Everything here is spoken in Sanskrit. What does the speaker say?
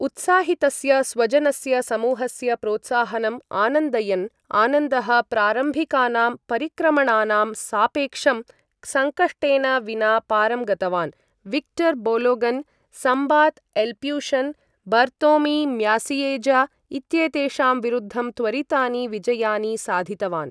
उत्साहितस्य स्वजनस्य समूहस्य प्रोत्साहनम् आनन्दयन्, आनन्दः प्रारम्भिकानां परिक्रमणानां सापेक्षं सङ्कष्टेन विना पारं गतवान्, Viktor Bologan, Smbat Lputian, Bartlomiej Macieja इत्येतेषां विरुद्धं त्वरितानि विजयानि साधितवान्।